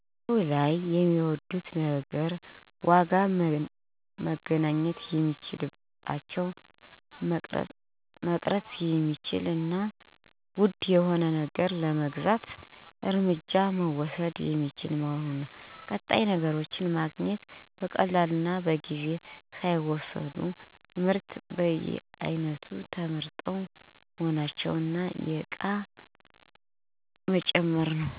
1. በገበያው ላይ የሚወዱት ነገር ዋጋ መገናኘት የሚቻልበት፣ መቅረት የሚቻል እና ውድ የሆነ ነገር ለመግዛት እርምጃ መውሰድ የሚቻል መሆኑ። ቀጣይ ነገሮችን ማግኘት (በቀላሉ እና በጊዜ ሳይወሰድ)። ምርቶች በየአይነቱ ተቀመጡ መሆናቸው፣ እና የእቃውን መመርመር በራስዎ 2. በገበያው ላይ የሚጠሉት ነገር ተጨማሪ ብዛት፣ ግጭት ወይም ተቃውሞ ከአካባቢ ሰዎች። አንዳንድ አንዳንድ ነገሮች የተበላሸ ወይም እሴት የጐደለባቸው መሆናቸው። ዋጋዎች የተለዋዋጭ መሆናቸው፣ ለአንዳንድ ነገሮች ዋጋ በተመሳሳይ ቦታ የተለያዩ መሆኑ።